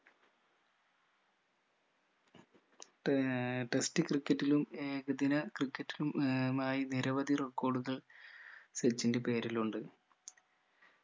ഏർ test ക്രിക്കറ്റിലും ഏകദിന ക്രിക്കറ്റിലും ഏർ മായി നിരവധി record കൾ സച്ചിന്റെ പേരിലുണ്ട്